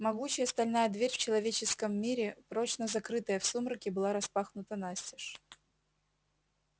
могучая стальная дверь в человеческом мире прочно закрытая в сумраке была распахнута настежь